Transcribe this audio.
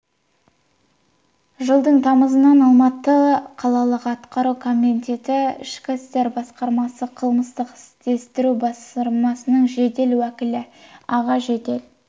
жылдың тамызынан алматы қалалық атқару комитеті ішкі істер басқармасы қылмыстық іздестіру басқармасының жедел уәкілі аға жедел